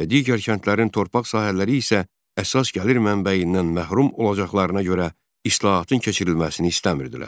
və digər kəndlərin torpaq sahələri isə əsas gəlir mənbəyindən məhrum olacaqlarına görə islahatın keçirilməsini istəmirdilər.